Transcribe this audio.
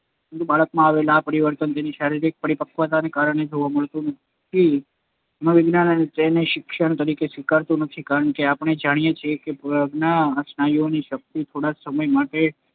પરંતુ બાળકમાં આવેલ આ પરિવર્તન તેની શારીરિક પરિપક્વતાને કારણે જોવા મળતું હોવાથી મનોવિજ્ઞાન તેને શિક્ષણ તરીકે સ્વીકારતું નથી. કારણકે આપણે જાણીએ છીએ કે પગના સ્નાયુઓની શક્તિ થોડ઼ા સમય માટે